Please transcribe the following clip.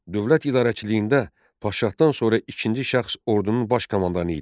Dövlət idarəçiliyində padşahdan sonra ikinci şəxs ordunun baş komandanı idi.